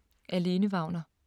Af Lene Wagner